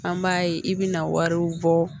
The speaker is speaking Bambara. An b'a ye i bɛna wariw bɔ